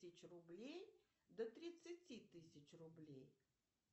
тысяч рублей до тридцать тысяч рублей